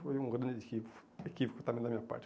E foi um grande equívoco também da minha parte.